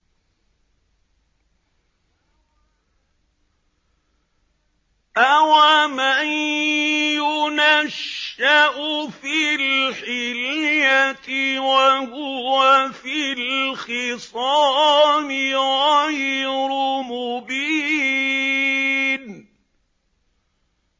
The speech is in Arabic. أَوَمَن يُنَشَّأُ فِي الْحِلْيَةِ وَهُوَ فِي الْخِصَامِ غَيْرُ مُبِينٍ